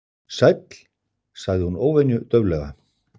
Sæll- sagði hún óvenju dauflega.